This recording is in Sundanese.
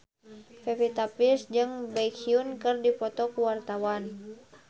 Pevita Pearce jeung Baekhyun keur dipoto ku wartawan